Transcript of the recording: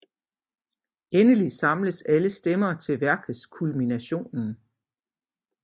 Endelig samles alle stemmer til værkets kulminationen